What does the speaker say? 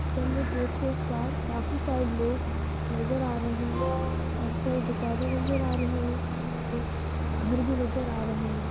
Railway track के उस पार काफी सारे लोग नजर आ रहे है| काफी सारी दुकाने नजर आ रही है घर भी नजर आ रहे है।